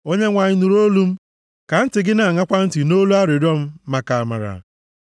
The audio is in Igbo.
Onyenwe anyị, nụrụ olu m. Ka ntị gị na-aṅakwa ntị nʼolu arịrịọ m, maka amara.